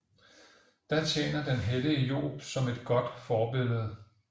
Da tjener den hellige Job som et godt forbillede